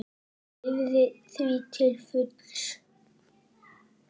Hún lifði því til fulls.